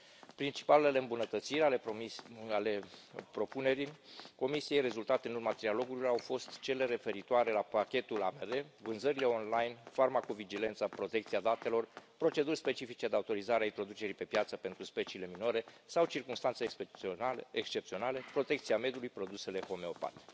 Principalele îmbunătățiri ale propunerii Comisiei rezultate în urma trialogurilor au fost cele referitoare la pachetul AMR, vânzările online, farmaco vigilența, protecția datelor, proceduri specifice de autorizare a introducerii pe piață pentru speciile minore sau circumstanțe excepționale, protecția mediului, produsele homeopate.